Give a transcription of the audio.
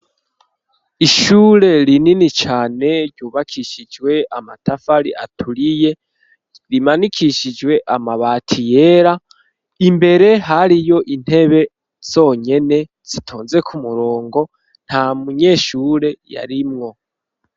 Ishure rinini cane ryubakishijwe amatafari aturiye, rimanikishijwe amabati yera, imbere hariyo intebe zonyene zitonze kumurongo, nta munyeshure yarimwo.